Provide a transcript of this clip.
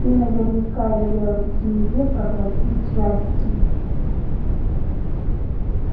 ты наверняка велел змее проглотить джастина